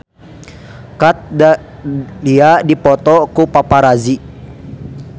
Kat Dahlia dipoto ku paparazi